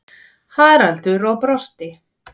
Haraldur og brosti.